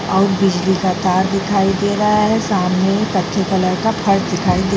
और बिजली का तार दिखाई दे रहा है सामने